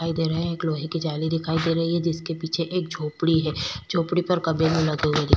दिखाई दे रहे हैं एक लोहे की जाली दिखाई दे रही है जिसके पीछे एक झोपड़ी है झोपड़ी पर कभी भी लगा।